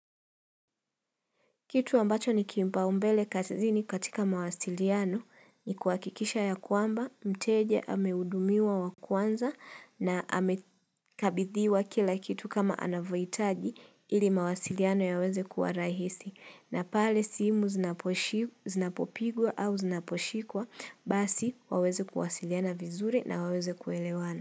Kitu ambacho ni kiupaombele kazini katika mawasiliano ni kuhakikisha ya kwamba, mteje amehudumiwa wa kwanza na amekabidhiwa kila kitu kama anavyohitaji ili mawasiliano yaweze kuwa rahisi. Na pale simu zinapopigwa au zinaposhikwa basi waweze kuwasiliana vizuri na waweze kuelewana.